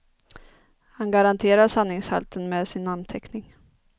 Han garanterar sanningshalten med sin namnteckning.